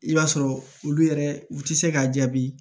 I b'a sɔrɔ olu yɛrɛ u tɛ se k'a jaabi